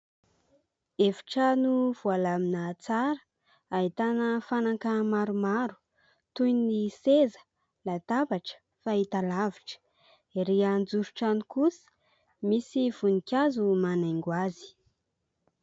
Efitrano voalamina tsara ahitana fanaka maromaro toy ny seza, latabatra, fahita-lavitra, erỳ anjoron-trano kosa misy voninkazo manaingo azy.